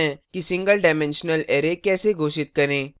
देखते हैं कि single डाइमेंशनल array कैसे घोषित करें